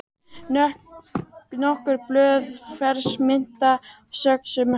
Nokkur blöð fersk mynta söxuð smátt